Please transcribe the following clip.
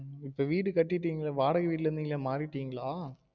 இப்ப வீடு கட்டிடிங்கலே வாடக வீட்டுல இருந்திங்களே மாறிடிங்களா?